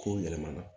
Kow yɛlɛmana